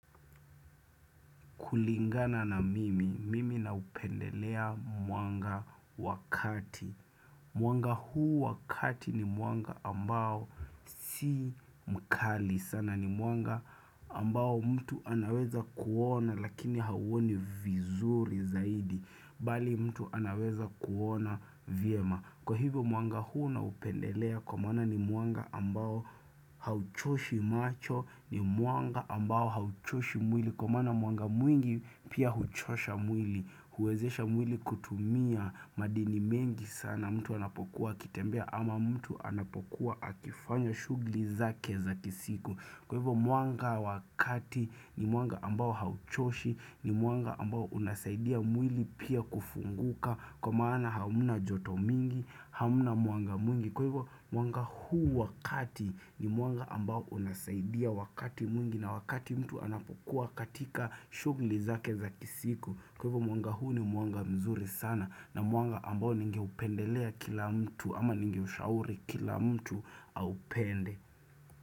Kulingana na mimi, mimi na upendelea mwanga wakati. Mwanga huu wakati ni mwanga ambao si mkali sana. Ni mwanga ambao mtu anaweza kuona lakini hawoni vizuri zaidi. Bali mtu anaweza kuona vyema. Kwa hivyo mwanga huu na upendelea kwa maana ni mwanga ambao hauchoshi macho. Ni mwanga ambao hauchoshi mwili. Kwa maana mwanga mwingi pia huchosha mwili, huwezesha mwili kutumia madini mengi sana, mtu anapokuwa akitembea ama mtu anapokuwa akifanya shugli zake za kisiku Kwa hivyo mwanga wakati ni mwanga ambao hauchoshi, ni mwanga ambao unasaidia mwili pia kufunguka Kwa maana hamuna joto mingi, hamuna mwanga mwingi Kwa hivyo mwanga huu wakati ni mwanga ambao unasaidia wakati mwingi na wakati mtu anapokuwa katika shugli zake za kisiku Kwa hivyo mwanga huu ni mwanga mzuri sana na mwanga ambao ninge upendelea kila mtu ama ninge ushauri kila mtu au pende.